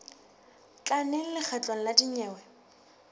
tla neng lekgotleng la dinyewe